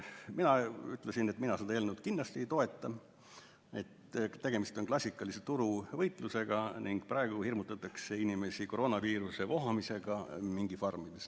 Mina ütlesin, et mina seda eelnõu kindlasti ei toeta, sest tegemist on klassikalise turuvõitlusega ning praegu hirmutatakse inimesi koroonaviiruse vohamisega mingifarmides.